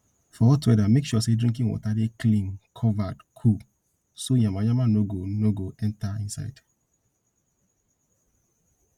for hot weather make sure sey drinking water dey clean covered cool so yamayama no go no go enter inside